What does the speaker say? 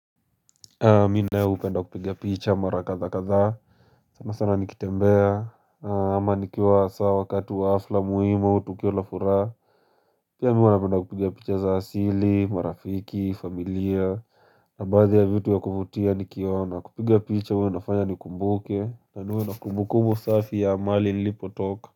Mi nayo upenda kupiga picha mara kadha kadhaa sanasana nikitembea ama nikiwa sawa wakati wa hafla muhimu au tukio la furaha Pia mi huwa napenda kupiga picha za asili, marafiki, familia na baadhi ya vitu ya kuvutia nikiona kupiga picha huwa inafanya nikumbuke na niwe na kumbukubu safi ya mahali nilipotoka.